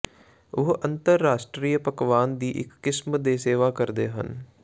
ਉਹ ਅੰਤਰਰਾਸ਼ਟਰੀ ਪਕਵਾਨ ਦੀ ਇੱਕ ਕਿਸਮ ਦੇ ਸੇਵਾ ਕਰਦੇ ਹਨ